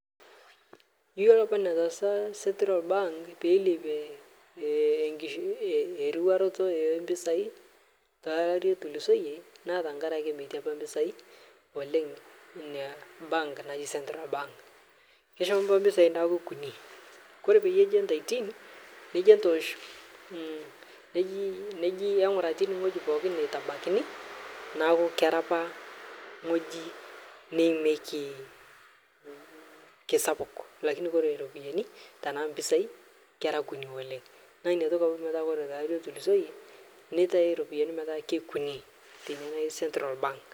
Iyiolo apa netaasa central bank pelepie nkiriwaroto mpisai tolari otulusoyie naa tankaraki metii apaa mpisai oleng nia bank naji central bank, keshomo apa mpisai metaa Kuni kore payie eji antaitii neji intoosh neji inguraa netabakini naaku kera apa ng'oji neimeki naaku Kore mpisai tana ropiyani naa keikuni oleng naaku Kore tankaraki kore lari atulusoye netae ropiyani petaa keikuni teina naji central bank.